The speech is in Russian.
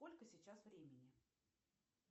сколько сейчас времени